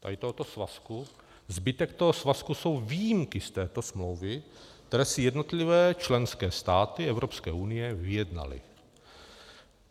Zbytek tohoto svazku jsou výjimky z této smlouvy, které si jednotlivé členské státy Evropské unie vyjednaly.